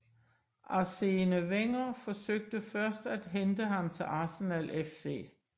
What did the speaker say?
Arsène Wenger forsøgte først at hente ham til Arsenal FC